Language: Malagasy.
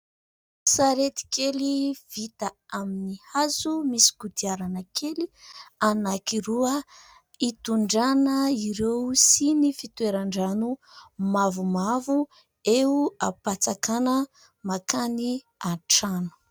Sarety kely vita amin'ny hazo misy kodiarana kely anankiroa hitondrana ireo siny fitoeran-drano mavomavo eo am-patsakana mankany an-trano.